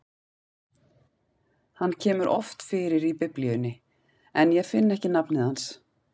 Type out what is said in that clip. Hann kemur oft fyrir í Biblíunni, en ég finn ekki nafnið hans.